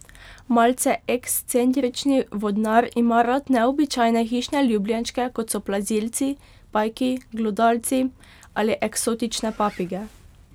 Malce ekscentrični vodnar ima rad neobičajne hišne ljubljenčke, kot so plazilci, pajki, glodavci ali eksotične papige.